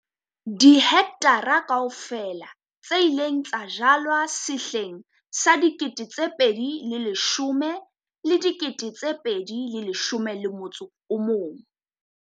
Dihekthara kaofela tse ileng tsa jalwa sehleng sa 2010-2011